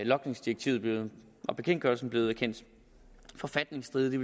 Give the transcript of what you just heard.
logningsdirektivet og bekendtgørelsen blevet kendt forfatningsstridige